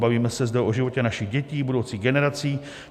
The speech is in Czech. Bavíme se zde o životě našich dětí, budoucích generací.